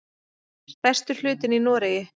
Stærstur hlutinn í Noregi.